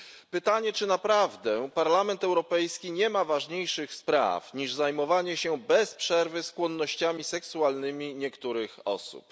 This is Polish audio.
Pytanie czy naprawdę Parlament Europejski nie ma ważniejszych spraw niż zajmowanie się bez przerwy skłonnościami seksualnymi niektórych osób?